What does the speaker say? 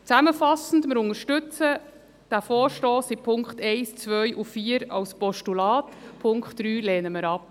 Zusammenfassend: Wir unterstützen diesen Vorstoss in den Punkten 1, 2 und 4 als Postulat, Punkt 3 lehnen wir ab.